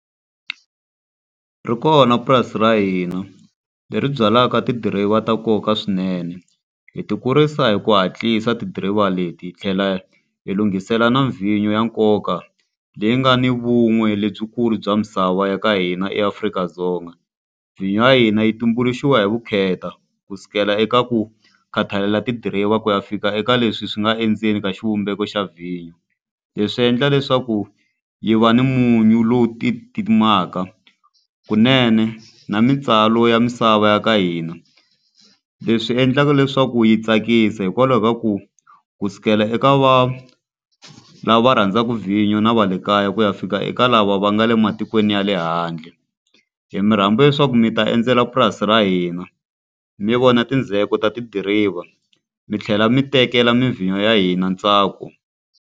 Ri kona purasi ra hina leri byalaka tidiriva ta nkoka swinene. Hi ti kurisa hi ku hatlisa tidiriva leti hi tlhela hi lunghisela na vhinyo ya nkoka, leyi nga ni vun'we lebyikulu bya misava ya ka hina eAfrika-Dzonga. Vhinyo ya hina yi tumbuluxiwa hi vukheta ku sukela eka ku khathalela tidiriva, ku ya fika eka leswi swi nga endzeni ka xivumbeko xa vhinyo. Leswi endla leswaku yi va ni munyu lowu kunene na mintswalo ya misava ya ka hina. Leswi endlaka leswaku yi tsakisa hikwalaho ka ku ku sukela eka va lava rhandzaka vhinyo na va le kaya ku ya fika eka lava va nga le matikweni ya le handle. Hi mi rhamba leswaku mi ta endzela purasi ra hina, mi vona mindzheko ta tidiriva, mi tlhela mi tekela mi vhinyo ya hina ntsako.